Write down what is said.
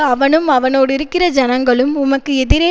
அவனும் அவனோடிருக்கிற ஜனங்களும் உமக்கு எதிரே